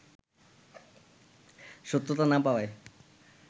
সত্যতা না পাওয়ায়